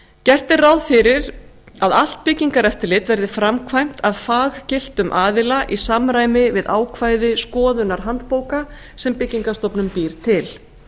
gert er ráð fyrir að allt byggingareftirlit verði framkvæmt að faggiltum aðila í samræmi við ákvæði skoðunarhandbóka sem byggingarstofnun býr til